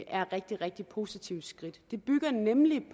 er rigtig rigtig positive skridt det bygger nemlig